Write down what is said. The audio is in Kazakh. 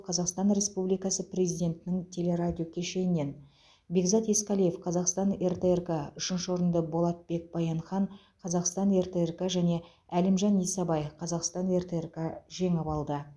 қазақстан республикасы президентінің телерадиокешенінен бекзат есқалиев қазақстан ртрк үшінші орынды болатбек баянхан қазақстан ртрк және әлімжан исабай қазақстан ртрк жеңіп алды